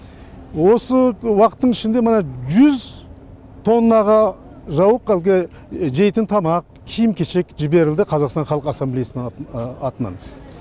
осы уақыттың ішінде мына жүз тоннаға жауық әлгі жейтін тамақ киім кешек жіберілді қазақстан халық ассамблеясының атынан